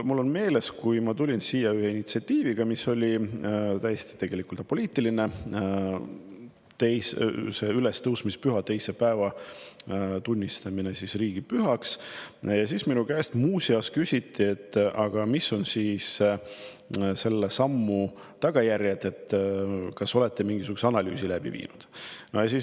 Mul on meeles, kui ma tulin siia ühe initsiatiiviga, mis oli tegelikult täiesti apoliitiline – ülestõusmispühade teise päeva tunnistamine riigipühaks –, siis minu käest küsiti, mis on selle sammu tagajärjed, kas te olete mingi analüüsi läbi viinud.